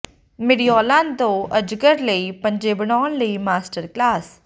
ਮੈਡਿਊਲਾਂ ਤੋਂ ਅਜਗਰ ਲਈ ਪੰਜੇ ਬਣਾਉਣ ਲਈ ਮਾਸਟਰ ਕਲਾਸ